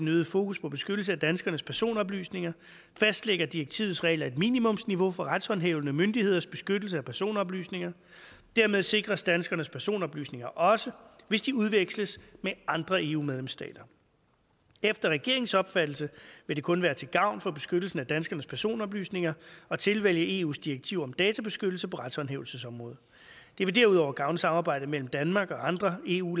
øgede fokus på beskyttelse af danskernes personoplysninger fastlægger direktivets regler et minimumsniveau for retshåndhævende myndigheders beskyttelse af personoplysninger dermed sikres danskernes personoplysninger også hvis de udveksles med andre eu medlemsstater efter regeringens opfattelse vil det kun være til gavn for beskyttelsen af danskernes personoplysninger at tilvælge eus direktiv om databeskyttelse på retshåndhævelsesområdet det vil derudover gavne samarbejdet mellem danmark og andre eu